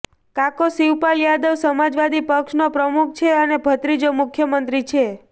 કાકો શિવપાલ યાદવ સમાજવાદી પક્ષનો પ્રમુખ છે અને ભત્રીજો મુખ્યમંત્રી છે